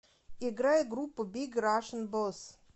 играй группу биг рашн босс